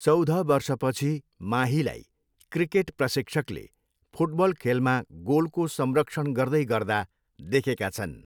चौध वर्षपछि माहीलाई क्रिकेट प्रशिक्षकले फुटबल खेलमा गोलको संरक्षण गर्दैगर्दा देखेका छन्।